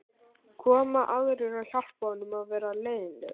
koma aðrir og hjálpa honum að vera leiðinlegur